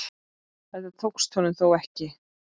Þetta tókst honum þó ekki.